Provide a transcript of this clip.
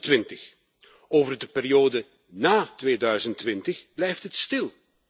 2020. Over de periode na 2020 blijft het stil.